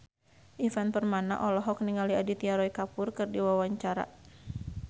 Ivan Permana olohok ningali Aditya Roy Kapoor keur diwawancara